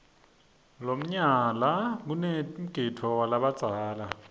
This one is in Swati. lomnyala kanemgidvo walabadzala